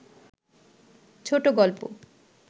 ছোট গল্প